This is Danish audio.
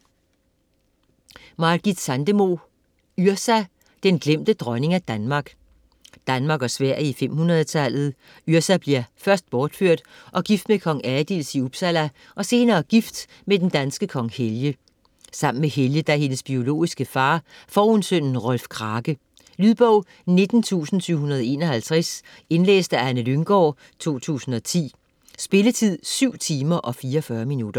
Sandemo, Margit: Yrsa: den glemte dronning af Danmark Danmark og Sverige i 500-tallet. Yrsa bliver først bortført og gift med kong Adils i Uppsala og senere gift med den danske kong Helge. Sammen med Helge, der er hendes biologiske far, får hun sønnen Rolf Krake. Lydbog 19751 Indlæst af Anne Lynggaard, 2010. Spilletid: 7 timer, 44 minutter.